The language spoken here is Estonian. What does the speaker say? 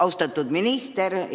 Austatud minister!